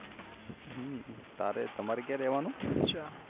તારે તમારે ક્યાં રેહવાનું ઉહ